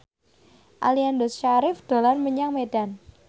Aliando Syarif dolan menyang Medan